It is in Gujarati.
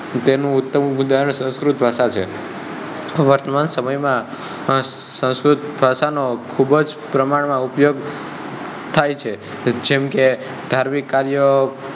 તેનું ઉતમ ઉદાહરણ સંસ્કૃત ભાષા છે વર્તમાન સમય માં સંસ્કૃત ભાષા નો ખૂબજ પ્રમાણ માં ઉપયોગ થાય છે. જેમકે ધાર્મિક કાર્ય